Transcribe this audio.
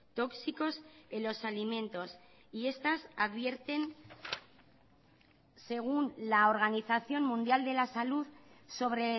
tóxicos en los alimentos y estas advierten según la organización mundial de la salud sobre